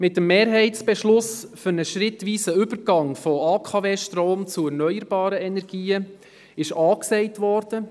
Mit dem Mehrheitsbeschluss für einen schrittweisen Übergang von AKW-Strom zu erneuerbaren Energien ist A gesagt worden.